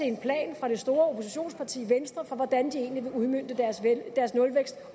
en plan fra det store oppositionsparti venstre for hvordan de egentlig vil udmønte deres nulvækst